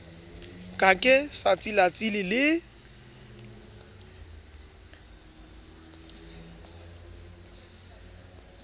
ka ke sa tsilatsile le